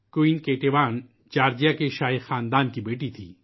queen Ketevan Georgia کے شاہی خاندان کی بیٹی تھیں